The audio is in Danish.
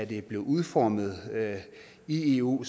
det blev udformet i eu